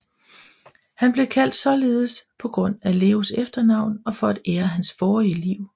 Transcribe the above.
Han blev kaldt således på grund af Leos efternavn og for at ære hans forrige liv